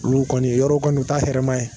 Olu kɔni yɔrɔ kɔni ta hɛrɛma ye.